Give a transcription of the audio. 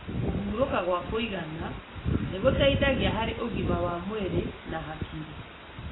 Kũhũruka gwa kũigana nĩguteithagia harĩ ũgima wa mwirĩ na hakiri.